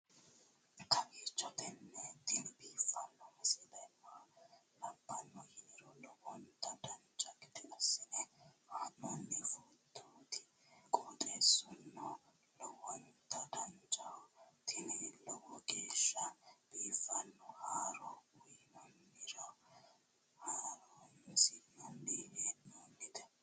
kowiicho tini biiffanno misile maa labbanno yiniro lowonta dancha gede assine haa'noonni foototi qoxeessuno lowonta danachaho. tini lowo geeshsha biiffanno haaro uyannara horoonsi'nanni hee'noonite